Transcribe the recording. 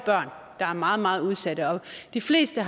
der er meget meget udsatte de fleste